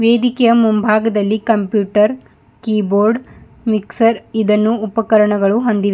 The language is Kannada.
ವೇದಿಕೆಯ ಮುಂಭಾಗದಲ್ಲಿ ಕಂಪ್ಯೂಟರ್ ಕೀಬೋರ್ಡ್ ಮಿಕ್ಸರ್ ಇದನ್ನು ಉಪಕರಣಗಳು ಹೊಂದಿವೆ.